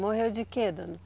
Morreu de quê, dona?